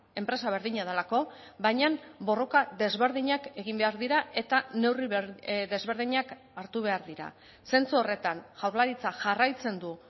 enpresa berdina delako baina borroka desberdinak egin behar dira eta neurri desberdinak hartu behar dira zentzu horretan jaurlaritzak jarraitzen du